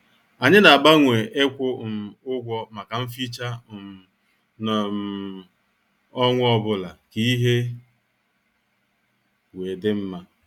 Anyị na- agbanwe ikwu um ụgwọ maka mficha um n' um ọnwa ọbụla ka ihe wee dị mma.